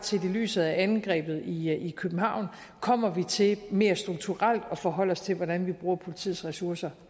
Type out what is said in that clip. set i lyset af angrebet i i københavn kommer vi til mere strukturelt at forholde os til hvordan vi bruger politiets ressourcer